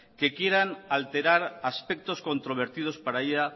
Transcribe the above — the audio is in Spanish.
que quieren alterar aspectos controvertidos para ella